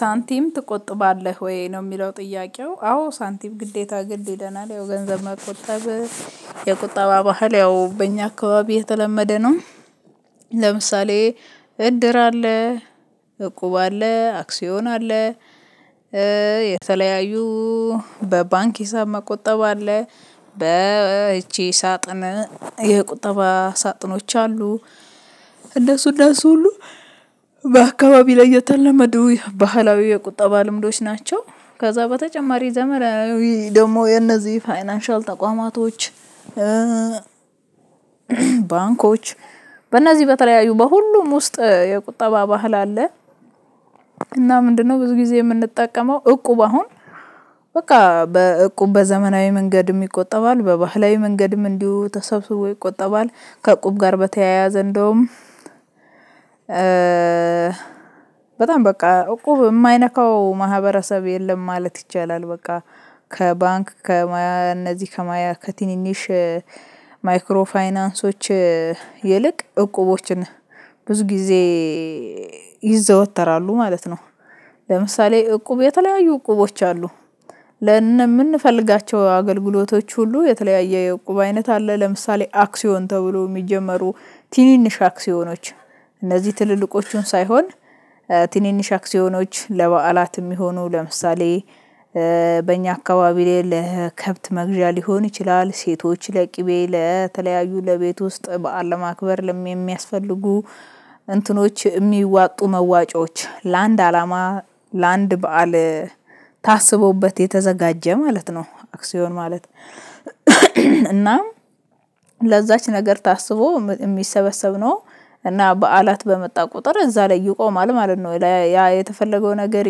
ሳንቲም ትቆጥባለህ ወይ? ነው የሚለው ጥያቄው። አዎ ሳንቲም ግዴታ ግድ ይለናል። ያው ገንዘብ መቆጠብ የቁጠባ ባህል ያው በእኛ አካባቢ የተለመደ ነው። ለምሳሌ እድር አለ። እቁብ አለ። አክሲዮን አለ። የተለያዩ በባንክ ሂሳብ መቆጠብ አለ። በይቺ ሳጥን የቁጠባ ሳጥኖች አሉ። እነሱ እነሱ ሁሉ በአካባቢ ላይ የተለመዱ የባህላዊ የቁጠባ ልምዶች ናቸው። ከዛ በተጨማሪ ዘመናዊ ደግሞ የነዚህ ፋይናንሻል ተቋማቶች ባንኮች በእነዚህ በተለያዩ በሁሉም ውስጥ የቁጠባ ባህል አለ። እና ምንድነው ብዙ ጊዜ የምንጠቀመው እቁብ አሁን በቃ በቁብ በዘመናዊ መንገድ ቆጠባል። በባህላዊ መንገድም እንዲሁ ተሰብስቦ ይቆጠባል። ከቁብ ጋር በተያያዘ እንደውም በጣም በቃ እቁብ የማይነካው ማህበረሰብ የለም ማለት ይቻላል። በቃ ከባንክ ከማያ እነዚህ ከማያ ከትንንሽ ማይክሮ ፋይናንሶች ይልቅ እቁቦችን ብዙ ጊዜ ይዘወተራሉ ማለት ነው። ለምሳሌ እቁብ የተለያዩ እቁቦች አሉ። ለምንፈልጋቸው አገልግሎቶች ሁሉ የተለያየ የቁብ አይነት አለ። ለምሳሌ አክሲዮን ተብሎ የሚጀመሩ ትንንሽ አክሲዮኖች እነዚህ ትልልቆቹን ሳይሆን ትንንሽ አክሲዮኖች ለበዓላት የሚሆኑ ለምሳሌ በእኛ አካባቢ ላይ ለከብት መግዣ ሊሆን ይችላል፣ ሴቶች ለቅቤ ለተለያዩ ለቤት ውስጥ በዓል ለማክበር ለሚያስፈልጉ እንትኖች የሚዋጡ መዋጮች ለአንድ አላማ ለአንድ በዓል ታስቦበት የተዘጋጀ ማለት ነው። አክሲዮን ማለት እናም ለዛች ነገር ታስቦ የሚሰበሰብ ነው። እና በዓላት በመጣ ቁጥር እዛ ላይ ይቆማል ማለት ነው። ጨ ያ የተፈለገው ነገር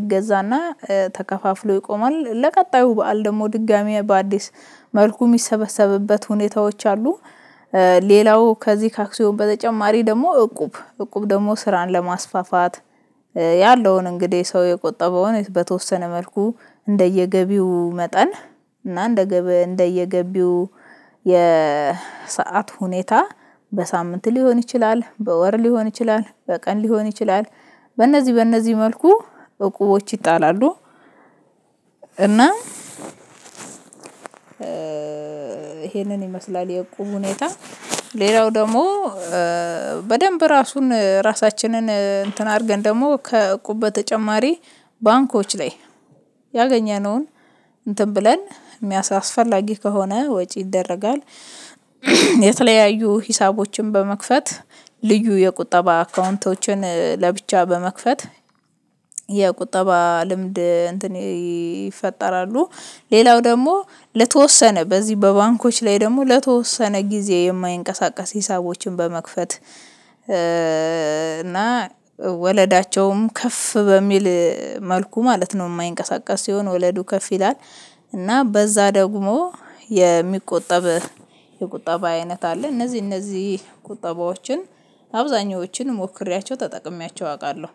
ይገዛና ተከፋፍሎ ይቆማል። ለቀጣዩ በዓል ደግሞ ድጋሚ በአዲስ መልኩ የሚሰበሰብበት ሁኔታዎች አሉ። ሌላው ከዚህ ከአክሲዮን በተጨማሪ ደግሞ እቁብ እቁብ ደግሞ ስራን ለማስፋፋት ያለውን እንግዲህ ሰው የቆጠበውን በተወሰነ መልኩ እንደየገቢው መጠን እና እንደየገቢው የሰዓት ሁኔታ በሳምንት ሊሆን ይችላል፣ በወር ሊሆን ይችላል፣ በቀን ሊሆን ይችላል። በእነዚህ በእነዚህ መልኩ እቁቦች ይጣላሉ። እና ይሄንን ይመስላል የቁም ሁኔታ። ሌላው ደግሞ በደንብ ራሱን ራሳችንን እንትን አድርገን ደግሞ ከቁበ ተጨማሪ ባንኮች ላይ ያገኘነውን እንትን ብለን አስፈላጊ ከሆነ ወጪ ይደረጋል። የተለያዩ ሂሳቦችን በመክፈት ልዩ የቁጠባ አካውንቶችን ለብቻ በመክፈት የቁጠባ ልምድ እንትን ይፈጠራሉ። ሌላው ደግሞ ለተወሰነ በዚህ በባንኮች ላይ ደግሞ ለተወሰነ ጊዜ የማይንቀሳቀስ ሂሳቦችን በመክፈት እና ወለዳቸውም ከፍ በሚል መልኩ ማለት ነው። የማይንቀሳቀስ ሲሆን ወለዱ ከፍ ይላል። እና በዛ ደግሞ የሚቆጠብ የቁጠባ አይነት አለ። እነዚህ እነዚህ ቁጠባዎችን አብዛኞቹን ሞክሬያቸው ተጠቅሜያቸው አውቃለሁ።